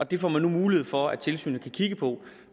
det får man nu mulighed for at tilsynet kan kigge på